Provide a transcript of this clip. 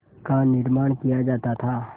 का निर्माण किया जाता था